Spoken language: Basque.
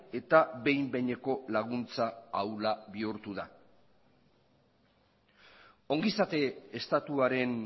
eta behin behineko laguntza ahula bihurtu da ongizate estatuaren